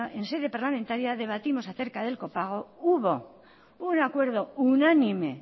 en sede parlamentaria debatimos acerca del copago hubo un acuerdo unánime